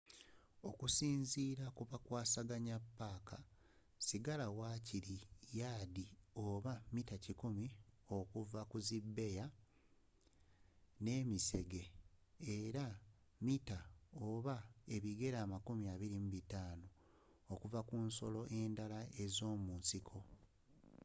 okusinziira ku bakwasaganya paaka sigala wakiri yaadi oba mita100 okuva ku zi bbeeya n'emisege era ne mita oba ebigere 25 okuva ku nsolo endala ez'omunsiko